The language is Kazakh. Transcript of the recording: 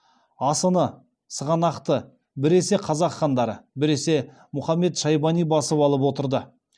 асыны сығанақты біресе қазақ хандары біресе мұхамед шайбани басып алып отырды